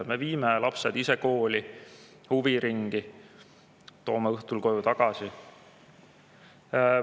Me viime lapsed ise kooli ja huviringi ning toome õhtul koju tagasi.